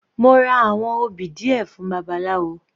Mo ra àwọn obì díẹ̀ fún babaláwo.